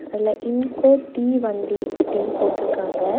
அதுல இன்கோ டீ வண்டி அப்படின்னு போட்டுருக்காங்க.